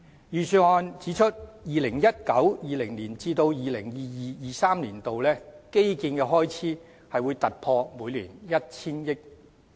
預算案指出 ，2019-2020 年度至 2022-2023 年度的基建開支將突破每年 1,000 億元。